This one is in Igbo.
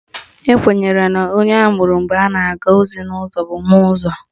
Ekwenyere na onye amụrụ mgbe a na-aga ozi n'ụzọ bụ Nwaụzọ